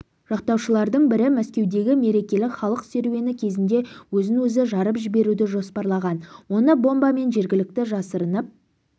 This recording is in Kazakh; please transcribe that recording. жақтаушылардың бірі мәскеудегі мерекелік халық серуені кезінде өзін-өзі жарып жіберуді жоспарлаған оны бомбамен жергілікті жасырынып